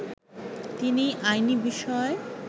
তিনি আইনি বিষয়